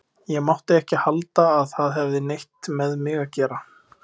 Ég mátti ekki halda að það hefði neitt með mig að gera.